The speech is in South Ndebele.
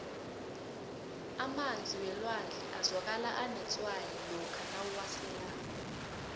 emanzi welwandle azwakala anetswayi lokha uwaselako